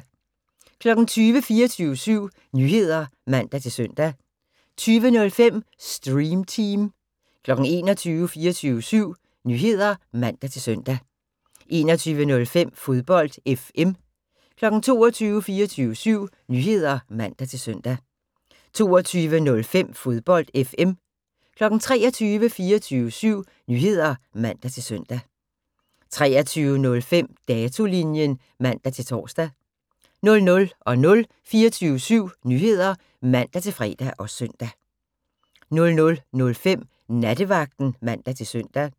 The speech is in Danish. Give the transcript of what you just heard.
20:00: 24syv Nyheder (man-søn) 20:05: Stream Team 21:00: 24syv Nyheder (man-søn) 21:05: Fodbold FM 22:00: 24syv Nyheder (man-søn) 22:05: Fodbold FM 23:00: 24syv Nyheder (man-søn) 23:05: Datolinjen (man-tor) 00:00: 24syv Nyheder (man-fre og søn) 00:05: Nattevagten (man-søn)